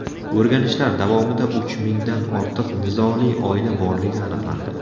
O‘rganishlar davomida uch mingdan ortiq nizoli oila borligi aniqlandi.